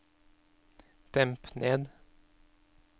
demp ned